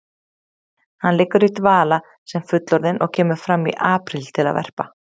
Hann liggur í dvala sem fullorðinn og kemur fram í apríl til að verpa.